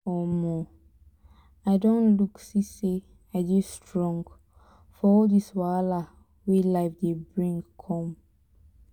i don look see say i dey strong for all dis wahala wey life dey bring come